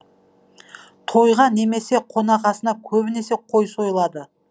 тойға немесе қонақасыға көбінесе қой сойылады